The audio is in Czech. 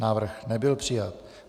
Návrh nebyl přijat.